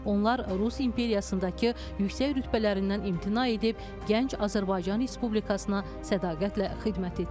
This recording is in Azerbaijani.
Onlar Rus imperiyasındakı yüksək rütbələrindən imtina edib gənc Azərbaycan Respublikasına sədaqətlə xidmət etdilər.